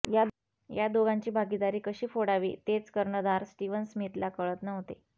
या दोघांची भागीदारी कशी फोडावी तेच कर्णधार स्टीवन स्मिथला कळत नव्हते